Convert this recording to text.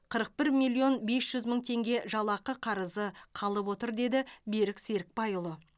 қырық бір миллион бес жүз мың теңге жалақы қарызы қалып отыр деді берік серікбайұлы